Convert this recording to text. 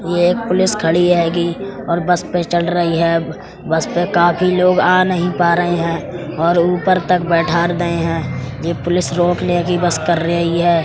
ये एक पुलिस खड़ी हेगी और बस में चढ़ रही है। बस में काफी लोग आ नहीं पा रहे हैं और ऊपर तक बैठार दय हैं। ये पुलिस की बस कर रही है।